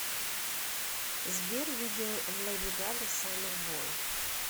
сбер видео лэди гага саммербой